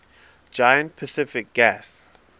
giant pacific gas